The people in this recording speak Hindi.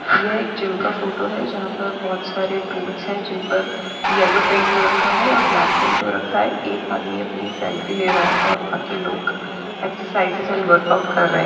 यह एक जिम का फोटो है जहापर बहुत सारे टूल्स है जिनपर येल्लो पेंट हो रखा है और ब्लाक पेंट हो रखा है एक आदमी अपनी सेल्फी ले रहा है और बाकी लोग एक्सरसाइजेस अँड वर्कआऊट कर रहे है।